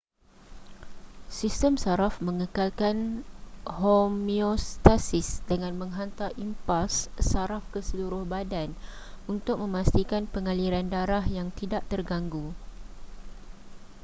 sistem saraf mengekalkan homeostasis dengan menghantar impuls saraf ke seluruh badan untuk memastikan pengaliran darah yang tidak terganggu